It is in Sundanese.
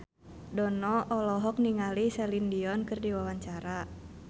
Dono olohok ningali Celine Dion keur diwawancara